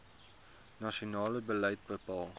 nasionale beleid bepaal